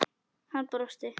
Hann brosti.